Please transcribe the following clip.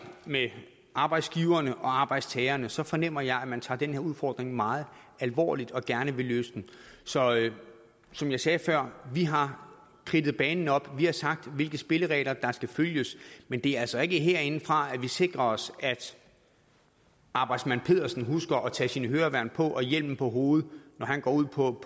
med arbejdsgiverne og arbejdstagerne så fornemmer jeg at man tager den her udfordring meget alvorligt og gerne vil løse den så som jeg sagde før vi har kridtet banen op vi har sagt hvilke spilleregler der skal følges men det er altså ikke herindefra at vi sikrer os at arbejdsmand pedersen husker at tage sine høreværn på og hjelmen på hovedet når han går ud på